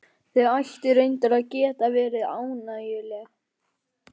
Þau ættu reyndar að geta verið ánægjuleg.